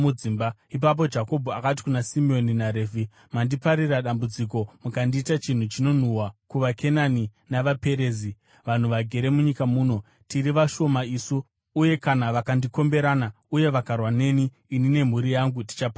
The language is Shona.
Ipapo Jakobho akati kuna Simeoni naRevhi, “Mandiparira dambudziko mukandiita chinhu chinonhuhwa kuvaKenani navaPerizi, vanhu vagere munyika muno. Tiri vashoma isu, uye kana vakandikomberana uye vakarwa neni, ini nemhuri yangu tichaparadzwa.”